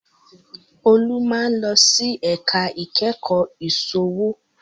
Olú máa ń lọ sí ẹ̀ka ìkẹ́kọ̀ọ́ ìsòwò